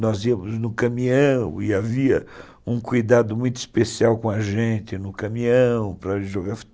Nós íamos no caminhão e havia um cuidado muito especial com a gente no caminhão para jogar